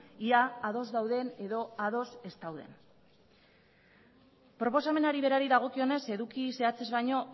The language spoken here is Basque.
ia ados dauden edo ados ez dauden proposamenari berari dagokionez eduki zehatzez baino